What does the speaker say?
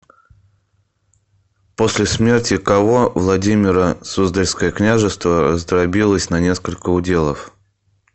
после смерти кого владимиро суздальское княжество раздробилось на несколько уделов